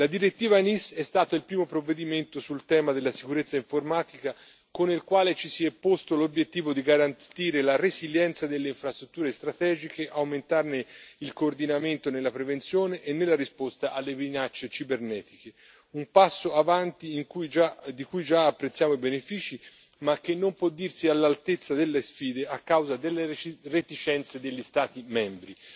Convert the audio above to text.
La direttiva NIS è stato il primo provvedimento sul tema della sicurezza informatica, con il quale ci si è posti l'obiettivo di garantire la resilienza delle infrastrutture strategiche, aumentarne il coordinamento nella prevenzione e nella risposta alle minacce cibernetiche un passo in avanti di cui già apprezziamo i benefici, ma che non può dirsi all'altezza delle sfide a causa delle reticenze degli Stati membri.